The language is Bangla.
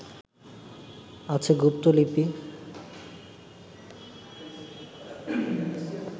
আছে গুপ্তলিপি